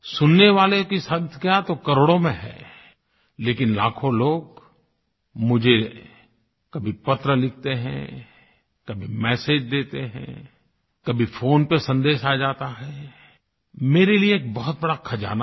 सुनने वालों की संख्या तो करोड़ों में है लेकिन लाखों लोग मुझे कभी पत्र लिखते हैं कभी मेसेज देते हैं कभी फ़ोन पे सन्देश आ जाता है मेरे लिए एक बहुत बड़ा खज़ाना है